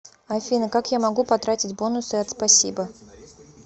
афина как я могу потратить бонусы от спасибо